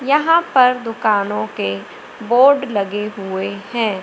यहां पर दुकानों के बोर्ड लगे हैं।